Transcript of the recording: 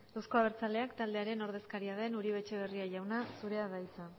euzko abertzaleak taldearen ordezkaria den uribe etxebarria jauna zurea da hitza